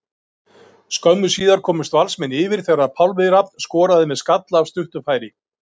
Skömmu síðar komust Valsmenn yfir þegar að Pálmi Rafn skoraði með skalla af stuttu færi.